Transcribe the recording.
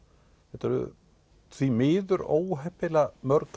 þetta eru því miður óheppilega mörg